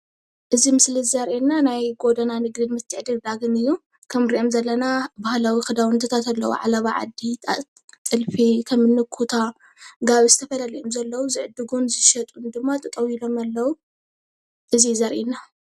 እዚ ምስሊ ዘሪኤና ናይ ጎደና ንግድን ምትዕድዳግን እዩ፡፡ ከም ንሪኦም ዘለና ባህላዊ ክዳውንትታት ኣለው፣ ዓለባ ዓዲ፣ ጥልፊ፣ ከም ኩታን ጋብን ዝተፈላለዩ እዩም ዘለው። ዝዕድጉን ዝሸጡን ድማ ጠጠው ኢሎም አለዉ። እዚ እዩ ዘርኤና፡፡